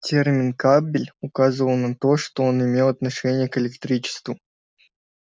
термин кабель указывал на то что он имеет отношение к электричеству